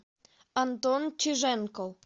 антон чиженко